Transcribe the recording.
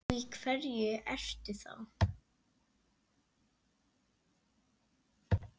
Og í hverju ertu þá?